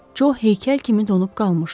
Co heykəl kimi donub qalmışdı.